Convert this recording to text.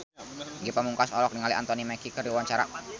Ge Pamungkas olohok ningali Anthony Mackie keur diwawancara